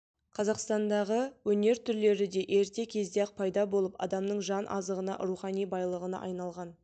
қазақстандағы өнер түрлері де ерте кезде-ақ пайда болып адамның жан азығына рухани байлығына айналған